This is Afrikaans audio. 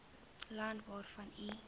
land waarvan u